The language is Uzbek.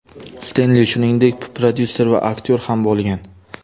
Sten Li, shuningdek, prodyuser va aktyor ham bo‘lgan.